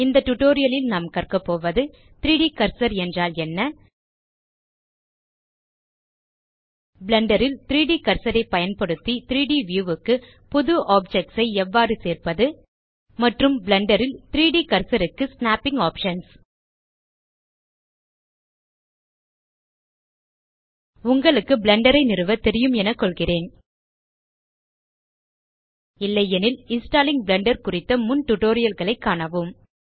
இந்த டியூட்டோரியல் லில் நாம் கற்க போவது160 3ட் கர்சர் என்றால் என்ன பிளெண்டர் ல் 3ட் கர்சர் ஐ பயன்படுத்தி 3ட் வியூ க்கு புது ஆப்ஜெக்ட்ஸ் ஐ எவ்வாறு சேர்ப்பது மற்றும் பிளெண்டர் ல் 3ட் கர்சர் க்கு ஸ்நேப்பிங் ஆப்ஷன்ஸ் உங்களுக்கு பிளெண்டர் ஐ நிறுவ தெரியும் என நினைக்கிறேன் இல்லையெனில் இன்ஸ்டாலிங் பிளெண்டர் குறித்த முன் டியூட்டோரியல் களைக் காணவும்